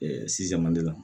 la